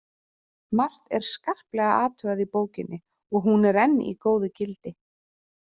Margt er skarplega athugað í bókinni og hún er enn í góðu gildi.